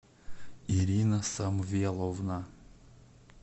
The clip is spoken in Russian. ирина самвеловна